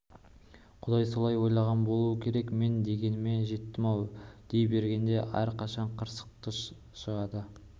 құдай солай ойлаған болуы керек мен дегеніме жеттім-ау дей бергенде аркашаның қырсығы шықты